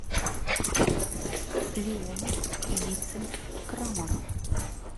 леонов вицин крамаров